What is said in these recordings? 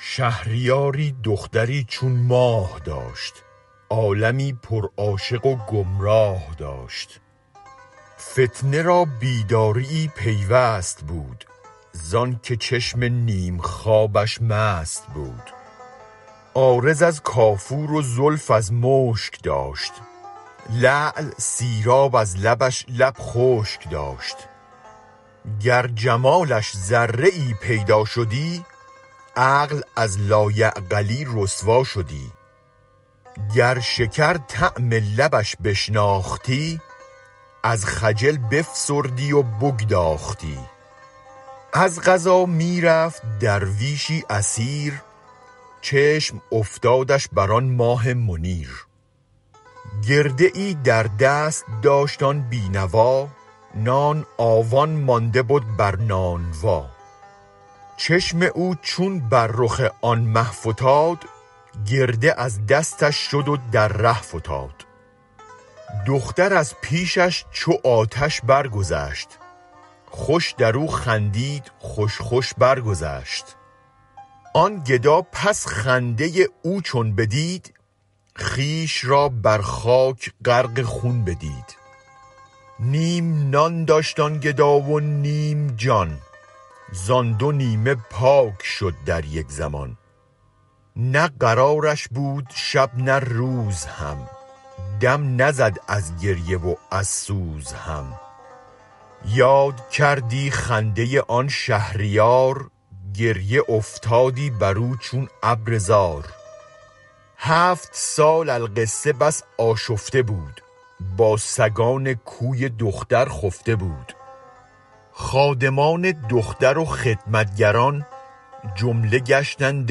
شهریاری دختری چون ماه داشت عالمی پر عاشق و گمراه داشت فتنه را بیداریی پیوست بود زآنک چشم نیم خوابش مست بود عارض از کافور و زلف از مشک داشت لعل سیراب از لبش لب خشک داشت گر جمالش ذره ای پیدا شدی عقل از لایعقلی رسوا شدی گر شکر طعم لبش بشناختی از خجل بفسردی و بگداختی از قضا می رفت درویشی اسیر چشم افتادش بر آن ماه منیر گرده ای در دست داشت آن بی نوا نان آون مانده بد بر نانوا چشم او چون بر رخ آن مه فتاد گرده از دستش شد و در ره فتاد دختر از پیشش چو آتش برگذشت خوش درو خندید خوش خوش برگذشت آن گدا پس خنده او چون بدید خویش را بر خاک غرق خون بدید نیم نان داشت آن گدا و نیم جان زان دو نیمه پاک شد در یک زمان نه قرارش بود شب نه روز هم دم نزد از گریه و از سوز هم یاد کردی خنده آن شهریار گریه افتادی برو چون ابر زار هفت سال القصه بس آشفته بود با سگان کوی دختر خفته بود خادمان دختر و خدمت گران جمله گشتند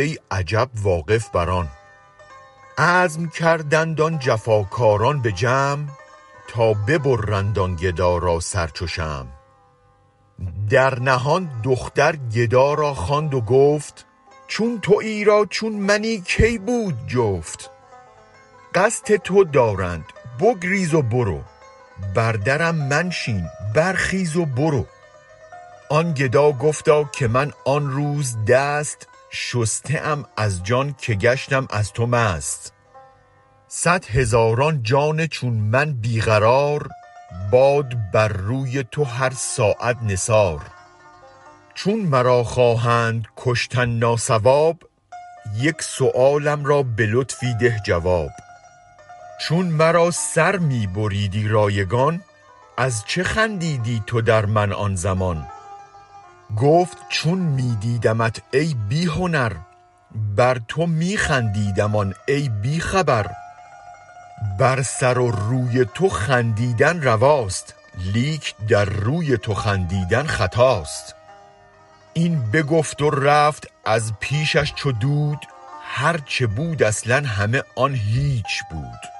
ای عجب واقف بر آن عزم کردند آن جفاکاران به جمع تا ببرند آن گدا را سر چو شمع در نهان دختر گدا را خواند و گفت چون تویی را چون منی کی بود جفت قصد تو دارند بگریز و برو بر درم منشین برخیز و برو آن گدا گفتا که من آن روز دست شسته ام از جان که گشتم از تو مست صد هزاران جان چون من بی قرار باد بر روی تو هر ساعت نثار چون مرا خواهند کشتن ناصواب یک سؤالم را به لطفی ده جواب چون مرا سر می بریدی رایگان از چه خندیدی تو در من آن زمان گفت چون می دیدمت ای بی هنر بر تو می خندیدم آن ای بی خبر بر سر و روی تو خندیدن رواست لیک در روی تو خندیدن خطاست این بگفت و رفت از پیشش چو دود هر چه بود اصلا همه آن هیچ بود